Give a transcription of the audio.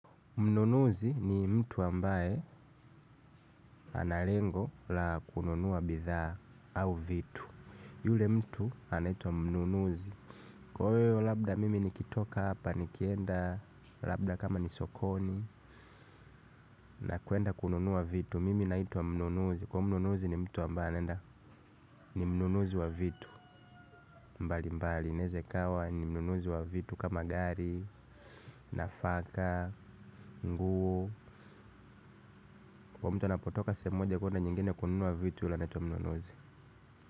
Mnunuzi ni mtu ambaye ana lengo la kununua bidhaa au vitu. Yule mtu anaitwa mnunuzi. Kwaiyo labda mimi nikitoka hapa nikienda labda kama nisokoni, na kwenda kununuwa vitu, mimi naito "mnunuzi" kwaiyo mnunuzi ni mtu ambaye anenda ni mnunuzi wa vitu. Mbali mbali naweza ikawa ni mnunuzi wa vitu kama gari, nafaka, nguo. Kwaiyo mtu anapotoka sehem moja kwenda nyingine kunnuua vitu yule anaitwa mnunuzi.